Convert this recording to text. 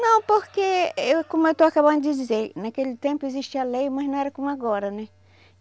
Não, porque, eu como eu estou acabando de dizer, naquele tempo existia a lei, mas não era como agora, né?